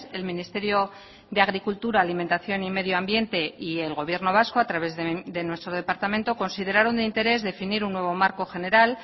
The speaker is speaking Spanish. el ministerio de agricultura alimentación y medio ambiente y el gobierno vasco a través de nuestro departamento consideraron de interés definir un nuevo marco general